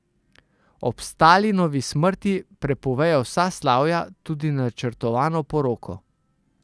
Ob Stalinovi smrti prepovejo vsa slavja, tudi načrtovano poroko.